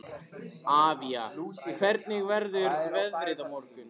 Avía, hvernig verður veðrið á morgun?